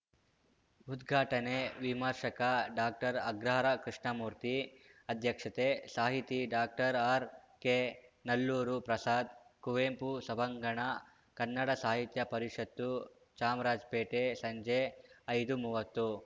ಉದ್ಘಾಟನೆ ವಿಮರ್ಶಕ ಡಾಕ್ಟರ್ಅಗ್ರಹಾರ ಕೃಷ್ಣಮೂರ್ತಿ ಅಧ್ಯಕ್ಷತೆ ಸಾಹಿತಿ ಡಾಕ್ಟರ್ಆರ್‌ಕೆ ನಲ್ಲೂರು ಪ್ರಸಾದ್‌ ಕುವೆಂಪು ಸಭಾಂಗಣ ಕನ್ನಡ ಸಾಹಿತ್ಯ ಪರಿಷತ್ತು ಚಾಮರಾಜಪೇಟೆ ಸಂಜೆ ಐದುಮೂವತ್ತು